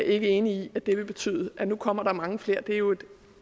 ikke enig i at det vil betyde at nu kommer der mange flere det er jo